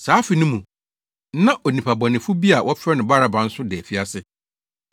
Saa afe no mu, na onipa bɔnefo bi a wɔfrɛ no Baraba nso da afiase.